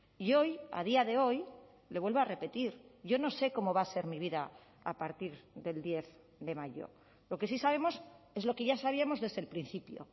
y hoy a día de hoy le vuelvo a repetir yo no sé cómo va a ser mi vida a partir del diez de mayo lo que sí sabemos es lo que ya sabíamos desde el principio